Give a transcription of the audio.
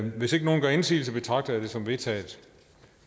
hvis ikke nogen gør indsigelse betragter jeg det som vedtaget